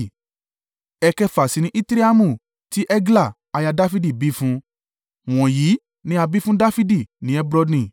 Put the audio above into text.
Ẹ̀kẹfà sì ni Itreamu, tí Egla aya Dafidi bí fún un. Wọ̀nyí ni a bí fún Dafidi ni Hebroni.